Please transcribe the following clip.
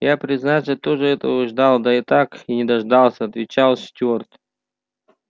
я признаться тоже этого ждал да так и не дождался отвечал стюарт